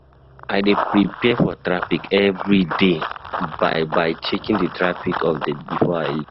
I dey prepare for traffic every day by by checking the traffic update before I leave.